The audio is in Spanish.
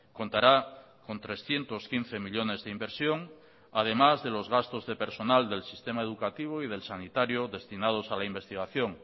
contará con trescientos quince millónes de inversión además de los gastos de personal del sistema educativo y del sanitario destinados a la investigación